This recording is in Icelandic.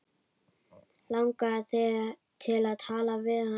Langaði þig til að tala við hann?